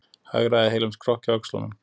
Hagræða heilum skrokki á öxlunum.